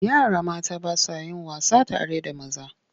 Yara mata ba sa yin wasa tare da maza.